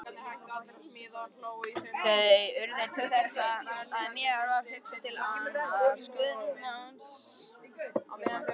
Þau urðu til þess að mér varð hugsað til annars guðsmanns.